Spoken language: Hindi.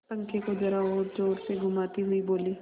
पंखे को जरा और जोर से घुमाती हुई बोली